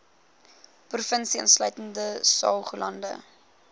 provinsie insluitende saoglande